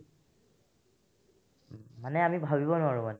মানে আমি ভাৱিব নোৱাৰো মানে